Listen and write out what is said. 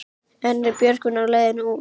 En er Björgvin á leiðinni út?